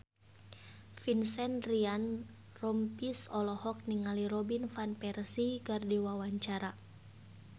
Vincent Ryan Rompies olohok ningali Robin Van Persie keur diwawancara